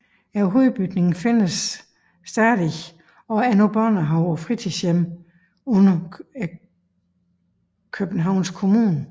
Hovedbygningen findes stadig og er nu børnehave og fritidshjem under Københavns Kommune